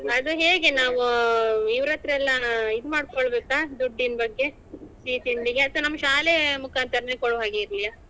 ಅದು ಹೇಗೆ ನಾವ್ ಇವ್ರತ್ರೆಲ್ಲಾ ಇದು ಮಾಡ್ಕೊಳ್ಬೇಕಾ ದುಡ್ಡಿನ್ ಬಗ್ಗೆ ಸಿಹಿ ತಿಂಡಿಗೆ ಅಥವಾ ನಮ್ಮ ಶಾಲೆಯ ಮುಕಾಂತರನೇ ಕೊಡುವ ಹಾಗೆ ಇರ್ಲಿಯಾ?